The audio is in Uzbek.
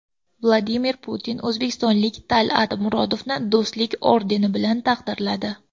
Vladimir Putin o‘zbekistonlik Tal’at Murodovni Do‘stlik ordeni bilan taqdirladi.